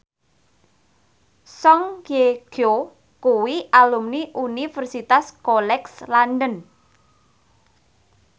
Song Hye Kyo kuwi alumni Universitas College London